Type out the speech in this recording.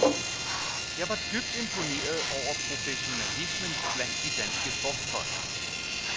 Jeg var dybt imponeret over professionalismen blandt de danske sportsfolk.